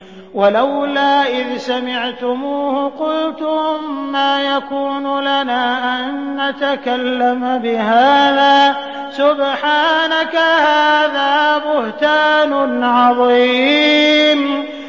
وَلَوْلَا إِذْ سَمِعْتُمُوهُ قُلْتُم مَّا يَكُونُ لَنَا أَن نَّتَكَلَّمَ بِهَٰذَا سُبْحَانَكَ هَٰذَا بُهْتَانٌ عَظِيمٌ